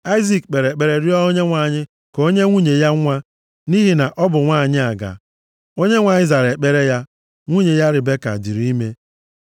Aịzik kpere ekpere rịọọ Onyenwe anyị ka o nye nwunye ya nwa nʼihi na ọ bụ nwanyị aga. Onyenwe anyị zara ekpere ya. Nwunye ya, Ribeka dịịrị ime.